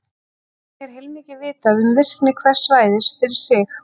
Einnig er heilmikið vitað um virkni hvers svæðis fyrir sig.